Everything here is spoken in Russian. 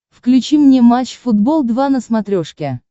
включи мне матч футбол два на смотрешке